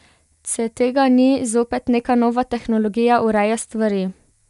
Ce tega ni, zopet neka nova tehnologija ureja stvari.